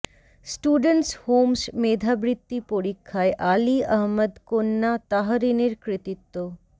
students homes মেধাবৃত্তি পরীক্ষায় আলী আহমদ কন্যা তাহরিনের কৃতিত্ব